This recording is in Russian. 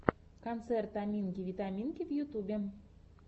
концерт аминки витаминки в ютьюбе